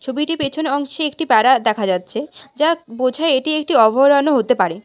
ছবিটির পেছন অংশে একটি বেড়া দেখা যাচ্ছে যা বোঝায় এটি একটি অভয়ারণ্য হতে পারে।